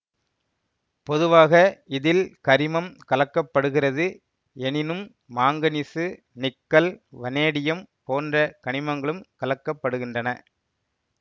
பொதுவாக இதில் கரிமம் கலக்கப்படுகிறது எனினும் மாங்கனீசு நிக்கல் வனேடியம் போன்ற கனிமங்களும் கலக்கப்படுகின்றன